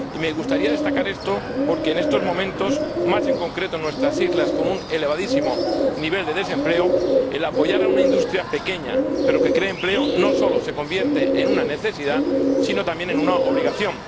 Y me gustaría destacar esto porque en estos momentos, más en concreto en nuestras islas con un elevadísimo nivel de desempleo, apoyar a una industria pequeña pero que crea empleo no solo se convierte en una necesidad, sino también en una obligación.